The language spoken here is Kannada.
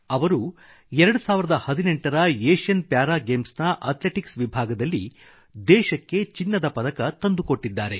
ಅವರು 2018 ರ ಏಷ್ಯನ್ ಪ್ಯಾರಾ ಗೇಮ್ಸ್ ನ ಅಥ್ಲೆಟಿಕ್ಸ್ ವಿಭಾಗದಲ್ಲಿ ದೇಶಕ್ಕೆ ಚಿನ್ನದ ಪದಕ ತಂದುಕೊಟ್ಟಿದ್ದಾರೆ